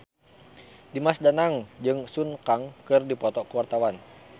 Dimas Danang jeung Sun Kang keur dipoto ku wartawan